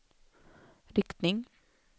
riktning